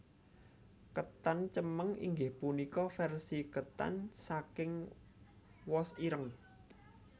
Ketan cemeng inggih punika versi ketan saking wos ireng